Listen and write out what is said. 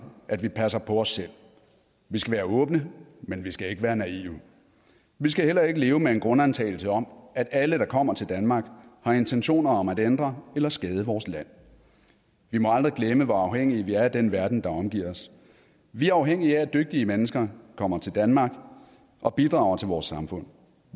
at vi passer på os selv vi skal være åbne men vi skal ikke være naive vi skal heller ikke leve med en grundantagelse om at alle der kommer til danmark har intentioner om at ændre eller skade vores land vi må aldrig glemme hvor afhængige vi er af den verden der omgiver os vi er afhængige af at dygtige mennesker kommer til danmark og bidrager til vores samfund